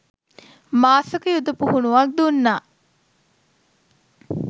මාස ක යුද පුහුණුවක් දුන්නා